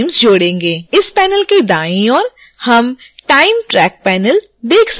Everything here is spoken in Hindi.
इस पैनल के दाईं ओर हम time track panel देख सकते हैं